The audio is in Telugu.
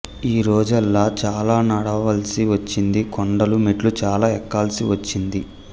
ఆ రోజల్లా చాలా నడవాల్సి వచ్చింది కొండలు మెట్లు చాలా ఎక్కాల్సివచ్చింది